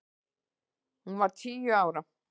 Hún var tíu ára.